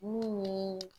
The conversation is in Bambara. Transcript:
Mun ye